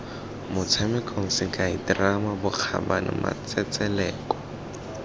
motshamekong sekai terama bokgabane matsetseleko